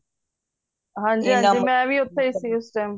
ਹਨਜੀ ਹਨਜੀ ਮੈਂ ਓਥੇ ਸੀ ਉਸ time